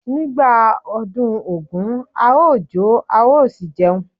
Nígbà ọdún Ògún a ó jó a ó sì jẹun.